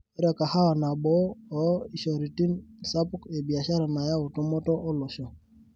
Ore kahawa naboo oo ishoritin sapukin ebiashara nayau tumoto olosho.